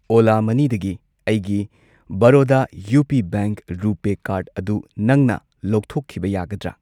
ꯑꯣꯂꯥ ꯃꯅꯤꯗꯒꯤ ꯑꯩꯒꯤ ꯕꯔꯣꯗꯥ U P bank RuPay card ꯑꯗꯨ ꯅꯪꯅ ꯂꯧꯊꯣꯛꯈꯤꯕ ꯌꯥꯒꯗ꯭ꯔꯥ?